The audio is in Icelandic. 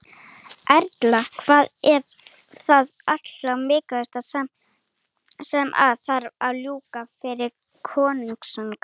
Erla: Hvað er það allra mikilvægasta sem að þarf að ljúka fyrir kosningar?